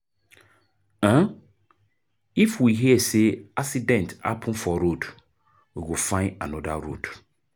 um If we hear sey accident happen for road, we go find anoda road.